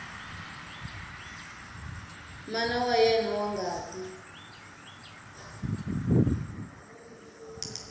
mana wa yena wa ngati